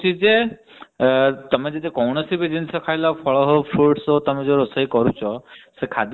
ଆମର science କହୁଛି ଯେ ତମେ ଯଦି କୌଣସି ବି ଜିନିଷ ଖାଇଲ ଫଳ ହଊ fruits ହଊ ତମେ ଯୋଉ ରୋଷେଇ କରୁଛ।